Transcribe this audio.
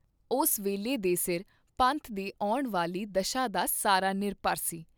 ਉਸ ਵੇਲੇ ਦੇ ਸਿਰ ਪੰਥ ਦੀ ਆਉਣ ਵਾਲੀ ਦਸ਼ਾ ਦਾ ਸਾਰਾ ਨਿਰਭਰ ਸੀ।